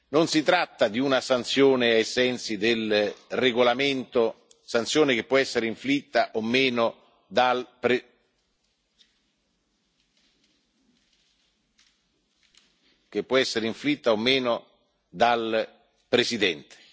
Non si tratta di una sanzione ai sensi del regolamento, sanzione che può essere inflitta o meno dal Presidente.